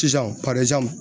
Sisan